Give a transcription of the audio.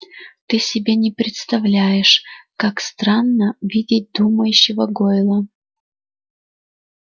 ты себе не представляешь как странно видеть думающего гойла